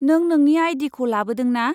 नों नोंनि आइ.डि.खौ लाबोदों ना?